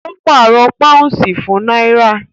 Ó pàrọ̀ pàúnsì fún náírà